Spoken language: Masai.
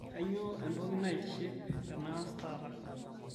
kainyoo entoki naitiship te naas taata